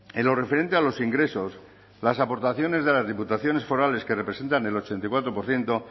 en lo referente a los ingresos las aportaciones de las diputaciones forales que representan el ochenta y cuatro por ciento